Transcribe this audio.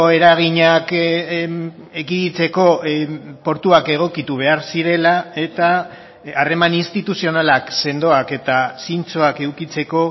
eraginak ekiditeko portuak egokitu behar zirela eta harreman instituzionalak sendoak eta zintzoak edukitzeko